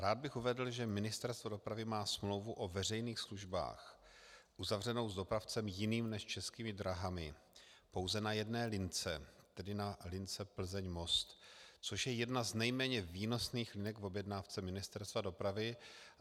Rád bych uvedl, že Ministerstvo dopravy má smlouvu o veřejných službách uzavřenou s dopravcem jiným než Českými dráhami pouze na jedné lince, tedy na lince Plzeň - Most, což je jedna z nejméně výnosných linek v objednávce Ministerstva dopravy.